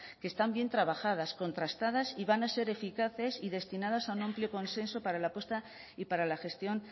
que están bien trabajadas contrastadas y van a ser eficaces y destinadas a un amplio consenso para la apuesta y para la gestión